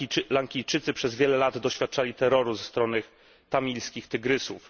Lankijczycy przez wiele lat doświadczali terroru ze strony Tamilskich Tygrysów.